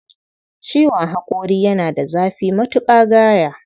Ciwon haƙori yana da zafi matuƙa gaya